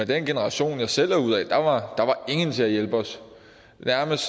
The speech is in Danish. den generation jeg selv er ud af var der ingen til at hjælpe os nærmest